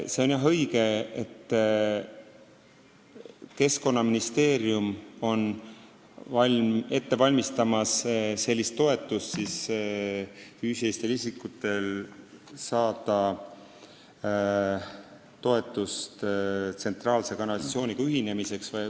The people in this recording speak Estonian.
See on õige, et Keskkonnaministeerium valmistab sellist toetust ette: füüsilistel isikutel tekib võimalus saada toetust tsentraalse kanalisatsiooniga ühinemiseks.